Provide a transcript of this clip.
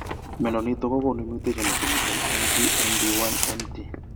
Mnyondo niton kogonu mutations chemiten MT ND1, MT